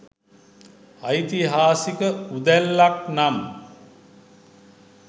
ඓතිහාසික උදැල්ලක් නම්